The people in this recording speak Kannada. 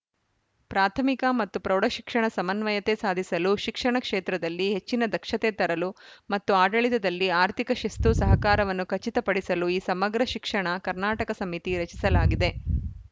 ಪ್ರಾಥಮಿಕ ಮತ್ತು ಪ್ರೌಢ ಶಿಕ್ಷಣ ಸಮನ್ವಯತೆ ಸಾಧಿಸಲು ಶಿಕ್ಷಣ ಕ್ಷೇತ್ರದಲ್ಲಿ ಹೆಚ್ಚಿನ ದಕ್ಷತೆ ತರಲು ಮತ್ತು ಆಡಳಿತದಲ್ಲಿ ಆರ್ಥಿಕ ಶಿಸ್ತು ಸಹಕಾರವನ್ನು ಖಚಿತ ಪಡಿಸಲು ಈ ಸಮಗ್ರ ಶಿಕ್ಷಣ ಕರ್ನಾಟಕ ಸಮಿತಿ ರಚಿಸಲಾಗಿದೆ